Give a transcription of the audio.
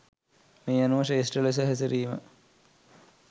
මේ අනුව ශ්‍රේෂ්ඨ ලෙස හැසිරීම